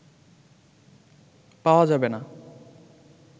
পাওয়া যাবেনা"